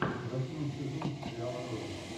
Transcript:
восьмой сезон сериала родина